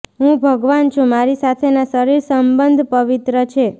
હું ભગવાન છું મારી સાથેના શરીર સંબંધ પવિત્ર છે